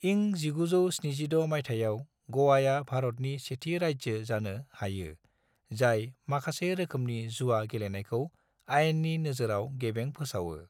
इं 1976 मायथाइयाव गोवाया भारतनि सेथि राज्यो जानो हायो जाय माखासे रोखोमनि जुवा गेलेनायखौ आइननि नोजोराव गेबें फोसावो।